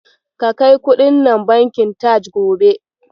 Ka kai kuɗin nan bankin Taj gobe.